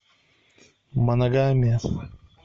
моногамия